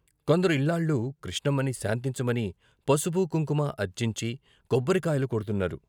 కొందరు ఇల్లాళ్ళు కృష్ణమ్మని శాంతించమని పసుపు, కుంకుమ అర్చించి కొబ్బరి కాయలు కొడ్తున్నారు.